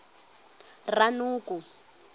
ranoko